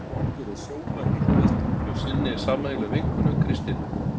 Þórbergur og Sóla hittast hjá sinni sameiginlegu vinkonu, Kristínu.